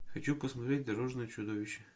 хочу посмотреть дорожное чудовище